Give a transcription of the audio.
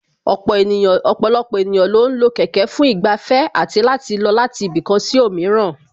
Ọ̀pọ̀lọpọ̀ ènìyàn lo ń lo kẹ̀kẹ́ fún ìgbafẹ́ àti láti lọ láti ibì kan sí òmíràn